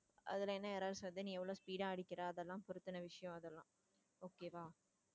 அதுல என்ன errors வருது நீ எவ்ளோ speed ஆ அடிக்கிற அதெல்லாம் பொறுத்துன விஷயம் அதெல்லாம் okay வா